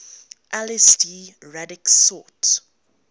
lsd radix sort